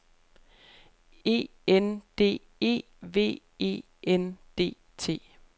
E N D E V E N D T